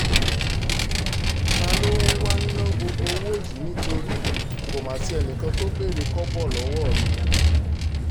ta ló wáá ń ná gbogbo owó yìí nítorí kó má sí ẹnì kan tó béèrè kọ́bọ̀ lọ́wọ́ mi